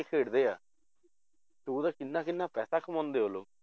ਖੇਡਦੇ ਆ ਤੇ ਉਹਦਾ ਕਿੰਨਾ ਕਿੰਨਾ ਪੈਸਾ ਕਮਾਉਂਦੇ ਆ ਉਹ ਲੋਕ